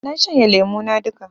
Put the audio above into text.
Na shanye lemo na duka